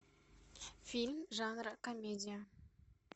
фильм жанра комедия